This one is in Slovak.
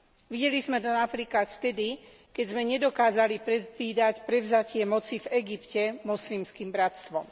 Videli sme to napríklad vtedy, keď sme nedokázali predvídať prevzatie moci v Egypte Moslimským bratstvom.